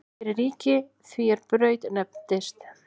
Fyrir ríki því er í Braut nefndist.